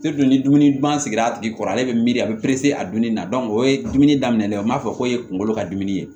ni dumuni dun bangen a tigi kɔrɔ ale bɛ miiri a bɛ a dumuni na o ye dumuni daminɛ n m'a fɔ k'o ye kunkolo ka dimi ye